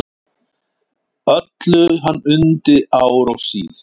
Öllu hann undi ár og síð.